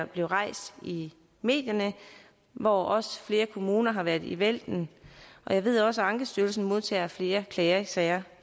blive rejst i medierne hvor også flere kommuner har været i vælten jeg ved også at ankestyrelsen modtager flere klagesager